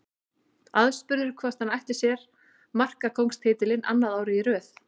Aðspurður hvort hann ætli sér markakóngstitilinn annað árið í röð.